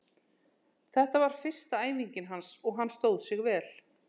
Þetta var fyrsta æfingin hans og hann stóð sig vel.